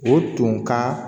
O tun ka